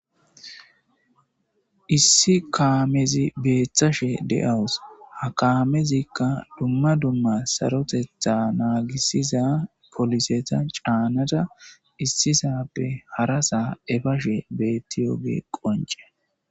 Issi kaamezi beeththashe de7awus ha kaamezikka dumma dumma sarotetha naagissiza poliseta caannada issisappe hara saa efashe beettiyoge qonce.